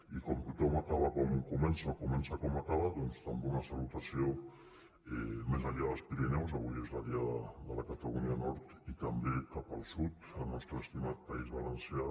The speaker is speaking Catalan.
i com tothom acaba com comença o comença com acaba doncs també una salutació més enllà dels pirineus avui és la diada de la catalunya nord i també cap al sud al nostre estimat país valencià